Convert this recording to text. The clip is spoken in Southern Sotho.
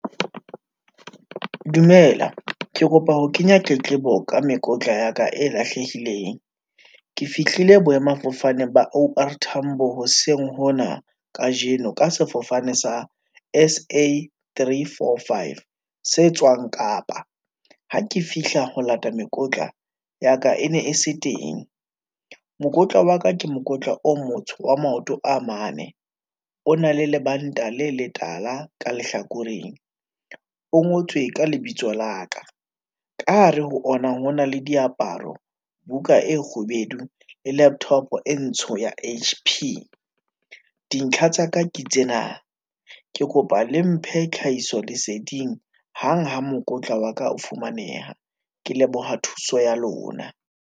Dumela, ke kopa ho kenya tletlebo ka mekotla ya ka e lahlehileng. Ke fihlile boemafofane ba O_R tambo hoseng hona kajeno, ka sefofane sa S_A three, four, five se tswang Kapa. Ha ke fihla ho lata mekotla ya ka, e ne e se teng, mokotla wa ka ke mokotla o motsho wa maoto a mane, o na le lebanta le letala ka lehlakoreng, o ngotswe ka lebitso la ka, ka hare ho ona, ho na le diaparo, buka e kgubedu, le laptop e ntsho ya H_P. Dintlha tsa ka ke tsena, ke kopa le mphe tlhahiso leseding, hang ha mokotla wa ka o fumaneha, ke leboha thuso ya lona.